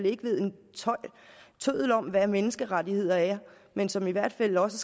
ikke ved en tøddel om hvad menneskerettigheder er men som i hvert fald også